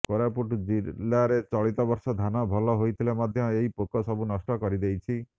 କୋରାପୁଟ ଜିଲ୍ଲାରେ ଚଳିତବର୍ଷ ଧାନ ଭଲ ହୋଇଥିଲେ ମଧ୍ୟ ଏହି ପୋକ ସବୁ ନଷ୍ଟ କରିଦେଇଛି